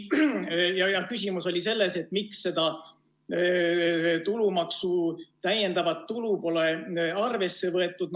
Küsimus oli selles, et miks seda tulumaksu täiendavat tulu pole arvesse võetud.